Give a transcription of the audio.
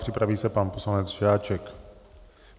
Připraví se pan poslanec Žáček.